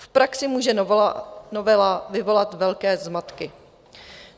V praxi může novela vyvolat velké zmatky.